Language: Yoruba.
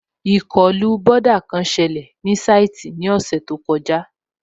Ìkọlù bọ́dà kan sẹlẹ̀ ní sáìtì ní ọ̀sẹ̀ tó kọjá